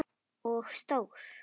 Og stór.